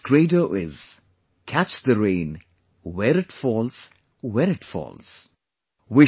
Its credo is 'CATCH THE RAIN, WHERE IT FALLS, WHEN IT FALLS'